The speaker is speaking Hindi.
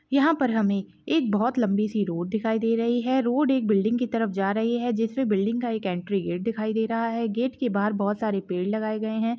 यहाँ पर हमे एक बहुत लंबी सी रोड दिखाई दे रही है रोड एक बिल्डिंग की तरफ जा रही है जिस मे बिल्डिंग का एक एंट्री गेट दिखाई दे रहा है गेट के बाहर बहुत सारे पेड़ लगाए गए है।